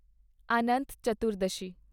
ਅਨੰਤ ਚਤੁਰਦਸ਼ੀ